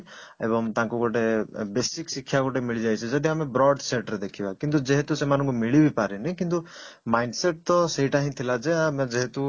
ଏବଂ ତାଙ୍କୁ ଗୋଟେ basic ଶିକ୍ଷା ଗୋଟେ ମିଳିଯାଇଛି ଯଦି ଆମେ broad side ରେ ଦେଖିବା କିନ୍ତୁ ଯେହେତୁ ସେମାନଙ୍କୁ ମିଳିବି ପାରେନି କିନ୍ତୁ mind set ତ ସେଇଟା ହିଁ ଥିଲା ଯେ ଆମେ ଯେହେତୁ